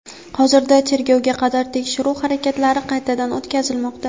Hozirda tergovga qadar tekshiruv harakatlari qaytadan o‘tkazilmoqda.